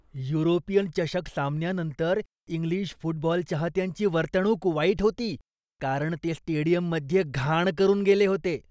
European चषक सामन्यानंतर English football चाहत्यांची वर्तणूक वाईट होती, कारण ते स्टेडियममध्ये घाण करून गेले.